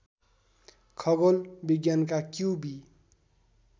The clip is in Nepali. खगोल विज्ञानका क्युबी